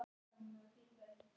Að hann hafi stolið henni?